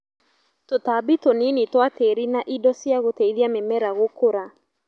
tũtambi tũnini twa tĩri na indo cia gũteithia mĩmera gũkũra